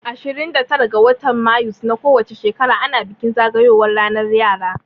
Ashirin da tara ga watan mayus na ko wace shekara ana bikin zagayowan ranar yara